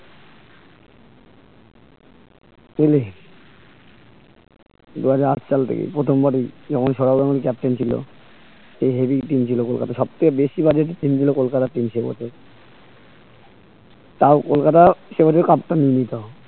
দিল্লী দুহাজার আট সাল থেকে প্রথম বার যখন সৌরভ গাঙ্গুলী captain ছিল তখন heavy team টিম ছিল কলকাতা সবচেয়ে বেশি বারেরই team গুলো তাও কলকাতা সেবারেও cup টা নিয়ে নিতো